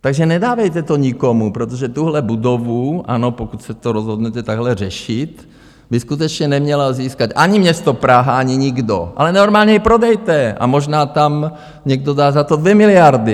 Takže nedávejte to nikomu, protože tuhle budovu, ano, pokud se to rozhodnete takhle řešit, by skutečně nemělo získat ani město Praha, ani nikdo, ale normálně ji prodejte a možná tam někdo dá za to 2 miliardy.